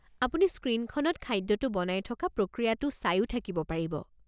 আপুনি স্ক্ৰীণখনত খাদ্যটো বনাই থকা প্ৰক্ৰীয়াটো চাইও থাকিব পাৰিব।